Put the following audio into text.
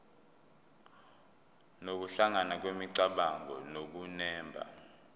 nokuhlangana kwemicabango nokunemba